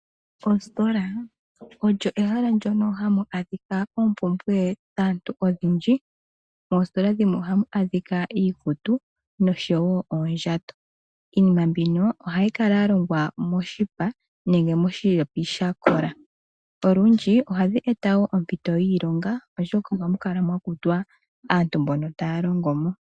Oositola odho ehala ndoka hamu adhika oompumbwe dhaantu odhindji. Moositola dhimwe omuna iikutu no showo oondjato, iinima mbino ohayi kala ya longwa moshipa nenge moshiyata shakola. Olundji ohadhi eta oompito dhiilonga oshoka ohamu kala mwa kutwa aantu mboka taya longo mo.